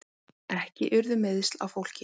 Ekki urðu meiðsl á fólki